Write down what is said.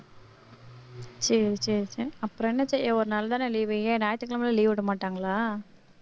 சரி சரி சரி அப்புறம் என்ன செய்ய ஒரு நாள்தானே leave வைங்க ஞாயிற்றுக்கிழமை leave விட மாட்டாங்களா